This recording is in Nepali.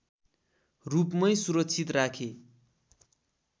रूपमै सुरक्षित राखे